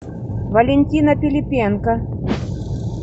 валентина пилипенко